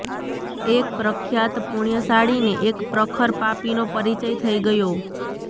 એક પ્રખ્યાત પુણ્યશાળીને એક પ્રખર પાપીનો પરિચય થઈ ગયો